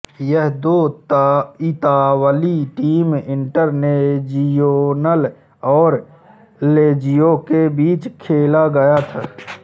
यह दो इतालवी टीम इंटरनेजियोनल और लेज़िओ के बीच खेला गया था